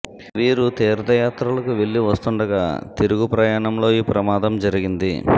వీరు తీర్థయాత్రలకు వెళ్లి వస్తుండగా తిరుగు ప్రయాణంలో ఈ ప్రమాదం జరిగింది